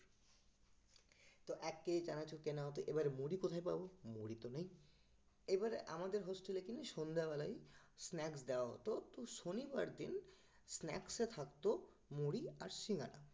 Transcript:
তো এক কেজি চানাচুর কেনা হতো, এবার মুড়ি কোথায় পাবো? মুড়ি তো নেই এবারে আমাদের hostel এ কিনা সন্ধ্যেবেলাই snacks দেওয়া হতো তো শনিবার দিন snacks এ থাকতো মুড়ি আর সিঙ্গারা